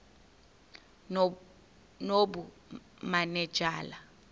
nobumanejala